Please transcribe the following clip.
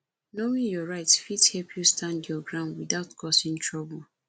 knowing your rights fit help you stand your ground without causing trouble